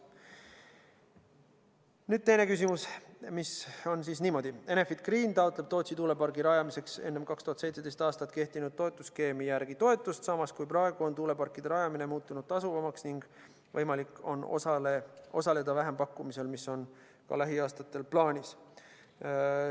Nüüd teine küsimus, mis kõlab niimoodi: "Enefit Green taotleb Tootsi tuulepargi rajamiseks enne 2017. aastat kehtinud toetusskeemi järgi toetust, samas kui praegu on tuuleparkide rajamine muutunud tasuvamaks ning võimalik on osaleda vähempakkumisel, mis on ka lähiaastatel plaanis.